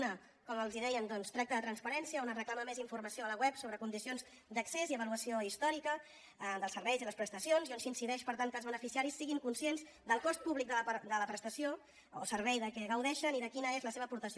una com els deien tracta de transparència on es reclama més informació a la web sobre condicions d’accés i avaluació històrica dels serveis i les prestacions i on s’incideix per tant que els beneficiaris siguin conscients del cost públic de la prestació o el servei de què gaudeixen i de quina és la seva aportació